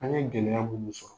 An' ye gɛlɛya munnu sɔrɔ